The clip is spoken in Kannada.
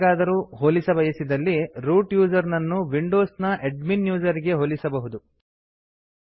ಯಾರಿಗಾದರೂ ಹೋಲಿಸಬಯಸಿದಲ್ಲಿ ರೂಟ್ ಯೂಸರ್ ನನ್ನು ವಿಂಡೋಸ್ ನ ಎಡ್ಮಿನ್ ಯೂಸರ್ ಗೆ ಹೋಲಿಸಬಹುದು